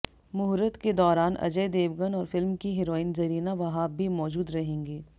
मुहूर्त के दौरान अजय देवगन और फिल्म की हीरोइन जरीना वहाब भी मौजूद रहेंगी